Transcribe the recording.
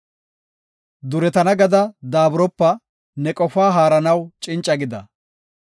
Duretana gada daaburopa; ne qofaa haaranaw cinca gida.